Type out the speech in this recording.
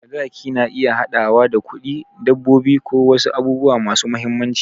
Sadaki na iya haɗawa da kuɗi, dabbobi, ko wasu abubuwa masu mahimmanci.